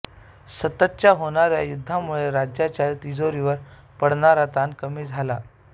सततच्या होणाऱ्या युद्धांमुळे राज्याच्या तिजोरीवर पडणारा ताण कमी झाला